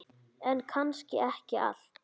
En kannski ekki allt.